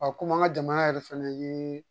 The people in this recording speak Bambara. komi an ka jamana yɛrɛ fɛnɛ ye